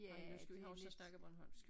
Ej men nu skal vi huske at snakke bornholmsk jo